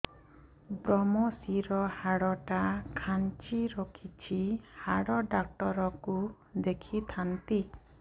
ଵ୍ରମଶିର ହାଡ଼ ଟା ଖାନ୍ଚି ରଖିଛି ହାଡ଼ ଡାକ୍ତର କୁ ଦେଖିଥାନ୍ତି